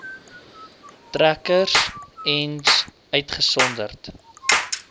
trekkers ens uitgesonderd